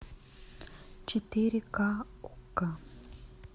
четыре ка окко